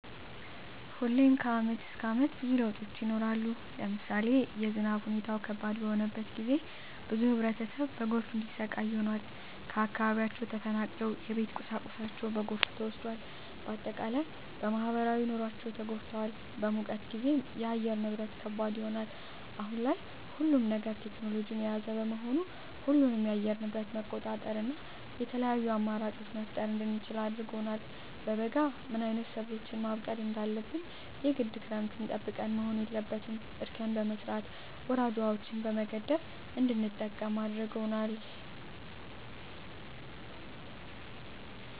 ሁሌም ከአመት እስከ አመት ብዙ ለውጦች ይኖራሉ። ለምሳሌ የዝናብ ሁኔታው ከባድ በሆነበት ጊዜ ብዙ ህብረተሰብ በጎርፍ እንዲሰቃይ ሆኗል። ከአካባቢያቸው ተፈናቅለዋል የቤት ቁሳቁሳቸው በጎርፍ ተወስዷል። በአጠቃላይ በማህበራዊ ኑሯቸው ተጎድተዋል። በሙቀት ጊዜም የአየር ንብረት ከባድ ይሆናል። አሁን ላይ ሁሉም ነገር ቴክኖሎጅን የያዘ በመሆኑ ሁሉንም የአየር ንብረት መቆጣጠር እና የተለያዪ አማራጮች መፍጠር እንድንችል አድርጎናል። በበጋ ምን አይነት ሰብሎችን ማብቀል እንዳለብን የግድ ክረምትን ጠብቀን መሆን የለበትም እርከን በመስራት ወራጅ ውሀዎችን በመገደብ እንድንጠቀም አድርጎናል።